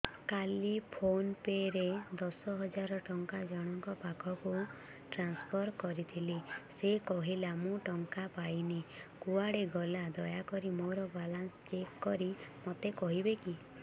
କାଲି PhonePe ରେ ଦଶ ହଜାର ଟଙ୍କା ଜଣକ ପାଖକୁ ଟ୍ରାନ୍ସଫର୍ କରିଥିଲି ସେ କହିଲା ମୁଁ ଟଙ୍କା ପାଇନି କୁଆଡେ ଗଲା ଦୟାକରି ମୋର ବାଲାନ୍ସ ଚେକ୍ କରି ମୋତେ କହିବେ କି